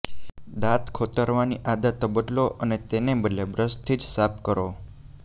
દાંત ખોતરવાની આદતો બદલો અને તેને બદલે બ્રશ થી જ સાફ કરો